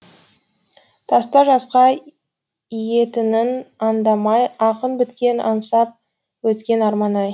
тас та жасқа иетінін аңдамай ақын біткен аңсап өткен арман ай